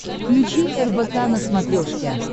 включи рбк на смотрешке